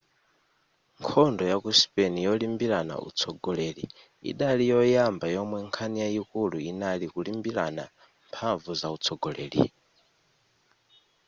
nkhondo yaku spain yolimbirana utsogoleri idali yoyamba yomwe nkhani yayikulu inali kulimbirana mphamvu zautsogoleri